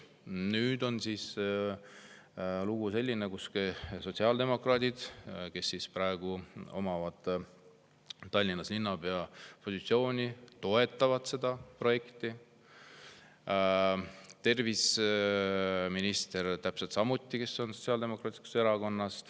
Nüüd on selline lugu, et sotsiaaldemokraadid, kellele praegu Tallinna linnapea positsioon, toetavad seda projekti, täpselt samuti terviseminister, kes on Sotsiaaldemokraatlikus Erakonnas.